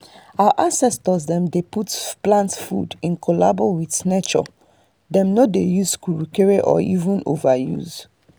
our ancestors dem dey plant food in collabo witrh nature dem no dey use kukrukere or even overuse